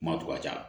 Kuma to ka ca